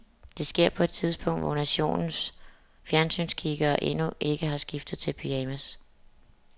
Det sker på et tidspunkt, hvor nationens fjernsynskiggere endnu ikke har skiftet til pyjamas.